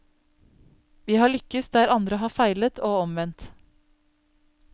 Vi har lykkes der andre har feilet og omvendt.